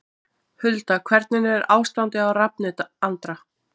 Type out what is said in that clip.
Hulda Hvernig er ástandið á Rafni Andra?